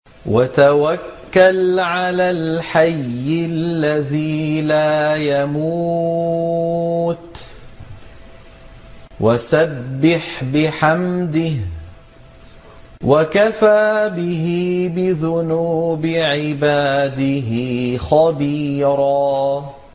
وَتَوَكَّلْ عَلَى الْحَيِّ الَّذِي لَا يَمُوتُ وَسَبِّحْ بِحَمْدِهِ ۚ وَكَفَىٰ بِهِ بِذُنُوبِ عِبَادِهِ خَبِيرًا